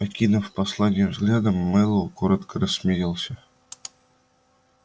окинув послание взглядом мэллоу коротко рассмеялся